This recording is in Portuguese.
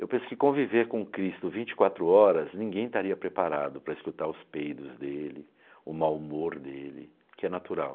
Eu penso que conviver com Cristo vinte e quatro horas, ninguém estaria preparado para escutar os peidos dele, o mau humor dele, que é natural.